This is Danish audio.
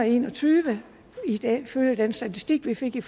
og enogtyve ifølge den statistik vi fik i